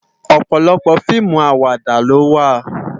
Òpòlòpò fiimú àwàdá ló wá